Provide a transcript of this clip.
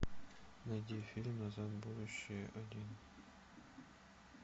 найди фильм назад в будущее один